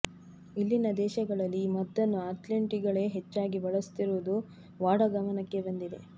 ಇಲ್ಲಿನ ದೇಶಗಳಲ್ಲಿ ಈ ಮದ್ದನ್ನು ಅಥ್ಲೀಟ್ಗಳೇ ಹೆಚ್ಚಾಗಿ ಬಳಸುತ್ತಿರುವುದು ವಾಡಾ ಗಮನಕ್ಕೆ ಬಂದಿದೆ